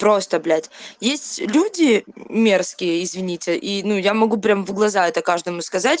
просто блять есть люди мерзкие извините и ну я могу прям в глаза это каждому сказать